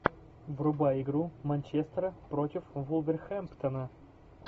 врубай игру манчестера против вулверхэмптона